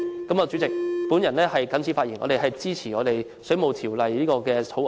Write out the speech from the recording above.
代理主席，我謹此發言，我們支持《2017年水務設施條例草案》的修訂。